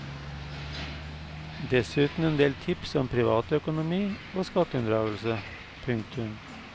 Dessuten en del tips om privatøkonomi og skatteunndragelse. punktum